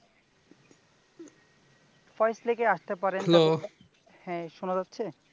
ফয়েজ লেকে আসতে পারেন Hello শোনা যাচ্ছে?